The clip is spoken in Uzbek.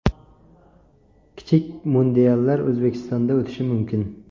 Kichik mundiallar O‘zbekistonda o‘tishi mumkin.